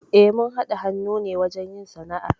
Eh, mun haɗa hannu ne wajen yin sana'ar.